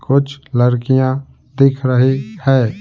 कुछ लड़कियां दिख रही है।